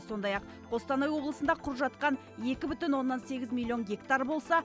сондай ақ қостанай облысында құр жатқан екі бүтін оннан сегіз миллион гектар болса